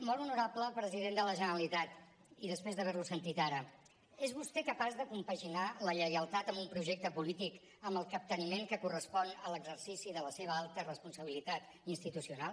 molt honorable president de la generalitat i després d’haver lo sentit ara és vostè capaç de compaginar la lleialtat a un projecte polític amb el capteniment que correspon a l’exercici de la seva alta responsabilitat institucional